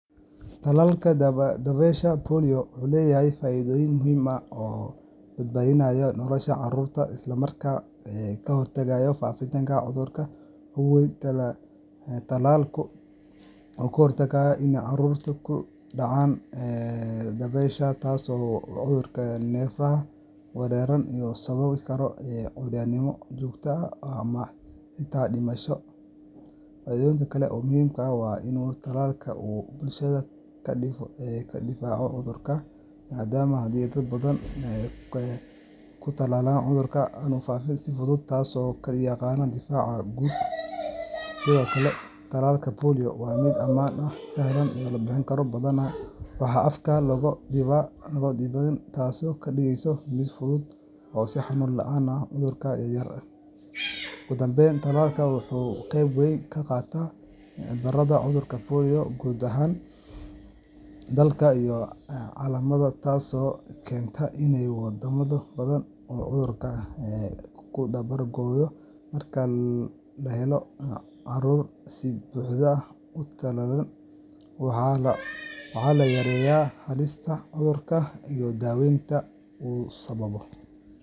Tallaalka dabaysha polio wuxuu leeyahay faa’iidooyin muhiim ah oo badbaadinaya nolosha carruurta isla markaana ka hortagaya faafitaanka cudurka. Ugu horreyn, tallaalku wuxuu ka hortagaa in carruurtu ku dhacaan dabaysha, taas oo ah cudur neerfaha weerara oo sababi kara curyaannimo joogto ah ama xitaa dhimasho. Faa’iido kale oo muhiim ah waa in tallaalka uu bulshada ka difaaco cudurka, maadaama haddii dad badan la tallaalo, cudurka aanu faafi karin si fudud – taas waxaa loo yaqaan .Sidoo kale, tallaalka polio waa mid ammaan ah oo sahlan in la bixiyo, badanaa waxaa afka looga dhibaa, taasoo ka dhigaysa mid fudud oo xanuun la’aan ah carruurta yar yar. Ugu dambayn, tallaalka wuxuu qeyb weyn ka qaataa ciribtirka cudurka polio guud ahaan dalka iyo caalamkaba, taasoo keentay in waddamo badan uu cudurkan ka dabar go’o. Marka la helo carruur si buuxda u tallaalan, waxaa la yareeyaa halista cudurka iyo dhaawacyada uu sababo.